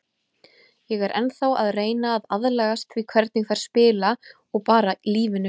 Ég er ennþá að reyna að aðlagast því hvernig þær spila og bara lífinu.